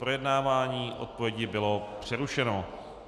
Projednávání odpovědi bylo přerušeno.